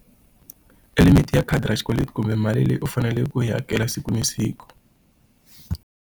I limit ya khadi ra xikweleti kumbe mali leyi u faneleke ku yi hakela siku na siku.